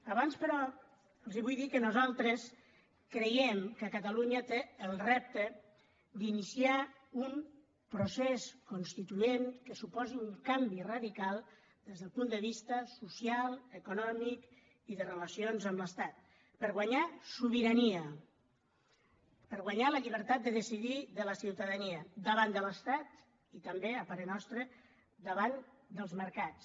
abans però els vull dir que nosaltres creiem que catalunya té el repte d’iniciar un procés constituent que suposi un canvi radical des del punt de vista social econòmic i de relacions amb l’estat per guanyar sobirania per guanyar la llibertat de decidir de la ciutadania davant de l’estat i també a parer nostre davant dels mercats